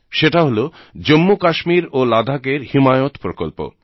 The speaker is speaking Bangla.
সেটা হল জম্মু কাশ্মীর ও লাদাখের হিমায়ত প্রকল্প